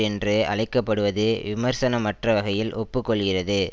என்று அழைக்க படுவது விமர்சனமற்ற வகையில் ஒப்பு கொள்கிறது